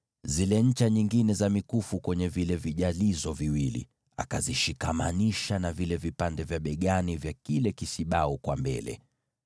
nazo zile ncha nyingine za mkufu akazifunga kwenye vile vijalizo viwili, na kuzishikamanisha na vile vipande vya mabega vya kile kisibau upande wa mbele.